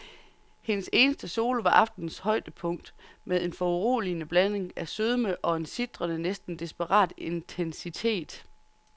Hendes eneste solo var aftenens højdepunkt med en foruroligende blanding af sødme og en sitrende, næsten desperat intensitet.